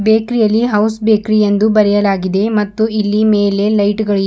ಬೇಕ್ರಿಯಲ್ಲಿ house bakery ಎಂದು ಬರೆಯಲಾಗಿದೆ ಮತ್ತು ಇಲ್ಲಿ ಮೇಲೆ ಲೈಟ್ ಗಳು--